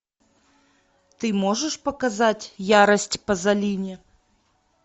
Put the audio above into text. ты можешь показать ярость пазолини